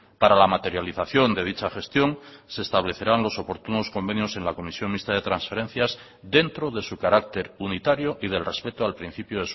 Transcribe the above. para la materialización de dicha gestión se establecerán los oportunos convenios en la comisión mixta de transferencias dentro de su carácter unitario y del respeto al principio